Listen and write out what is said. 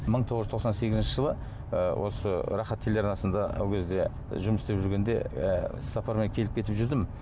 мың тоғыз жүз тоқсан сегізінші жылы ы осы рахат телеарнасында ол кезде жұмыс істеп жүргенде і іс сапармен келіп кетіп жүрдім